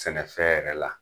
Sɛnɛfɛn yɛrɛ la